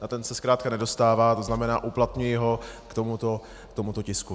Na ten se zkrátka nedostává, to znamená, uplatňuji ho k tomuto tisku.